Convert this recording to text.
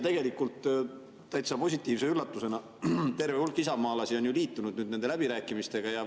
Tegelikult täitsa positiivse üllatusena terve hulk isamaalasi on nüüd liitunud nende läbirääkimistega.